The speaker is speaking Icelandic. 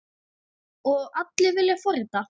Og allir vilja forrita?